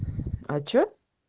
а что